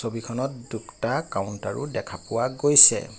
ছবিখনত দুটা কাউণ্টাৰো দেখা পোৱা গৈছে।